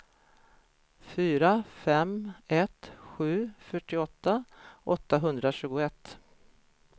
fyra fem ett sju fyrtioåtta åttahundratjugoett